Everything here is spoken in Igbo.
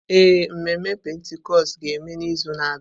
Ee, mmemme Pentikọst ga-eme n'izu na-abịa.